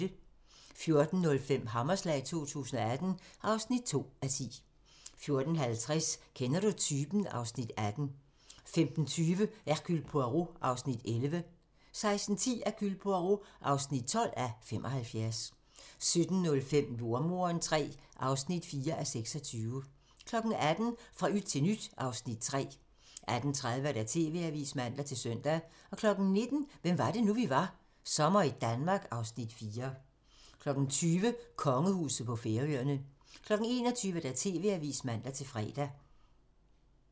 14:05: Hammerslag 2018 (2:10) 14:50: Kender du typen? (Afs. 18) 15:20: Hercule Poirot (11:75) 16:10: Hercule Poirot (12:75) 17:05: Jordemoderen III (4:26) 18:00: Fra yt til nyt (Afs. 3) 18:30: TV-avisen (man-søn) 19:00: Hvem var det nu, vi var - Sommer i Danmark (Afs. 4) 20:00: Kongehuset på Færøerne 21:00: TV-avisen (man-fre)